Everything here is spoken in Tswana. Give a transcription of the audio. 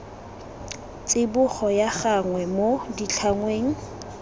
tsibogo ya gagwe mo ditlhangweng